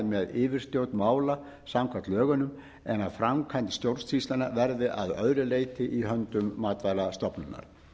með yfirstjórn mála samkvæmt lögunum en að framkvæmd stjórnsýslunnar verði að öðru leyti í höndum matvælastofnunar